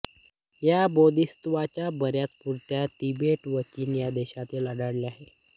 या बोधिसत्त्वाच्या बऱ्याच मूर्ती तिबेट व चीन या देशांत आढळल्या आहेत